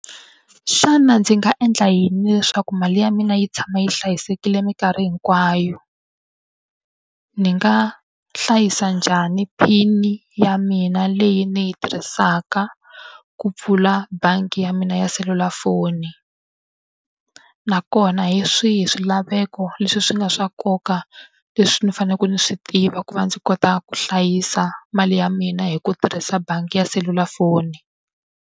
Xana ndzi nga endla yini leswaku mali ya mina yi tshama yi hlayisekile minkarhi hinkwayo? Ni nga hlayisa njhani PIN-i ya mina leyi ni yi tirhisaka ku pfula bangi ya mina ya selulafoni? Nakona hi swihi swilaveko leswi swi nga swa nkoka leswi ni faneleke ni swi tiva ku va ndzi kota ku hlayisa mali ya mina hi ku tirhisa bangi ya selulafoni?